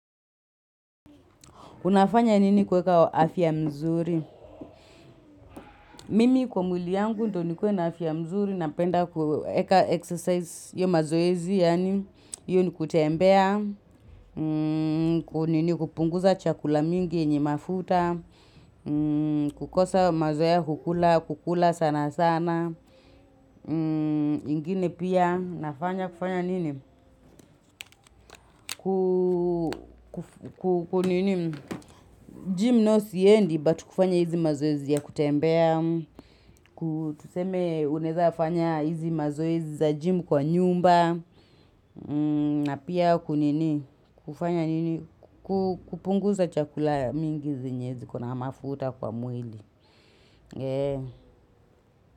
Unafanya nini kuweka afya mzuri? Mimi kwa mwili yangu ndo nikuwe na afya mzuri napenda kueka exercise hiyo mazoezi yaani hiyo ni kutembea kupunguza chakula mingi yenye mafuta kukosa mazoea ya kukula kukula sana sana ingine pia nafanya kufanya nini kukunini gym nayo siendi but kufanya hizi mazoezi ya kutembea ku tuseme unaweza fanya hizi mazoezi za gym kwa nyumba na pia kunini kufanya nini kukupunguza chakula mingi zenye ziko na mafuta kwa mwili.